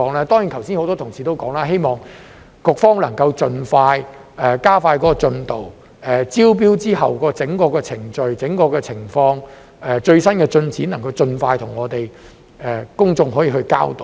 當然，剛才很多同事都提到，希望局方能盡快加快進度，就招標後的整個程序、整個情況及最新進展，盡快向我們及公眾交代。